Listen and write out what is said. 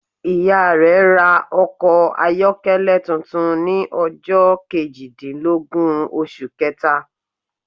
Ìya rẹ ra okò ayọ́kẹ́lẹ́ tuntun ni ọjọ́ kejìdínlógún osù kẹèta